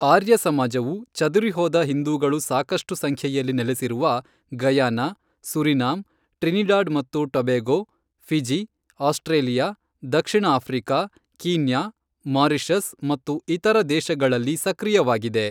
ಆರ್ಯ ಸಮಾಜವು ಚದುರಿಹೋದ ಹಿಂದೂಗಳು ಸಾಕಷ್ಟು ಸಂಖ್ಯೆಯಲ್ಲಿ ನೆಲೆಸಿರುವ ಗಯಾನಾ, ಸುರಿನಾಮ್, ಟ್ರಿನಿಡಾಡ್ ಮತ್ತು ಟಬೇಗೋ, ಫಿಜಿ, ಆಸ್ಟ್ರೇಲಿಯಾ, ದಕ್ಷಿಣ ಆಫ್ರಿಕ, ಕೀನ್ಯಾ, ಮಾರಿಷಸ್ ಮತ್ತು ಇತರ ದೇಶಗಳಲ್ಲಿ ಸಕ್ರಿಯವಾಗಿದೆ.